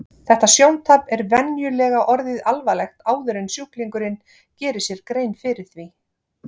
Þetta sjóntap er venjulega orðið alvarlegt áður en sjúklingurinn gerir sér grein fyrir því.